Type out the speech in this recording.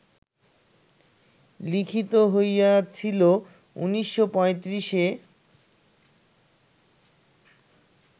লিখিত হইয়াছিল ১৯৩৫-এ